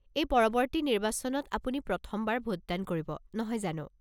এই পৰৱৰ্তী নিৰ্বাচনত আপুনি প্ৰথমবাৰ ভোটদান কৰিব, নহয় জানো?